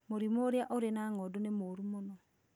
Mũrimũ ũrĩa ũrĩ na ng'ondu nĩ mũũru